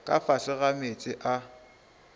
ka fase ga meetse a